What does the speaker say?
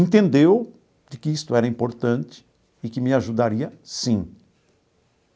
Entendeu de que isto era importante e que me ajudaria, sim.